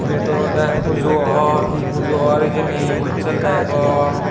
ibet olode pujo or hi pujo or hijeni hojsel degong.